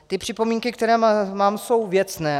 Ty připomínky, které mám, jsou věcné.